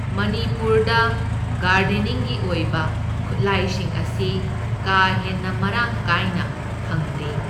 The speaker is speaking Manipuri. ꯃꯅꯤꯄꯨꯔꯗ ꯒꯥꯔꯗꯦꯅꯤꯡꯒꯤ ꯑꯣꯏꯕ ꯈꯨꯠꯂꯥꯏꯁꯤꯡ ꯑꯁꯤ ꯀꯥ ꯍꯦꯟꯅ ꯃꯔꯥꯡ ꯀꯥꯏꯅ ꯐꯪꯗꯦ꯫